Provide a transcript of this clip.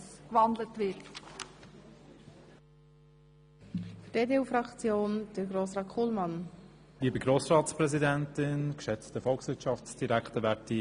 Deshalb stimmt die EVP-Fraktion diesem Postulat zu, wenn es gewandelt wird.